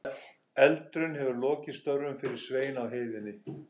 Eldurinn hefur lokið störfum fyrir Svein á heiðinni.